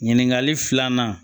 Ɲininkali filanan